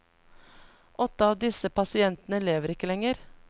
Åtte av disse pasientene lever ikke lenger.